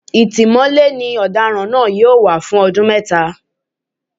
Ìtìmọ́lé ni ọ̀daràn náà yóò wà fún ọdún mẹ́ta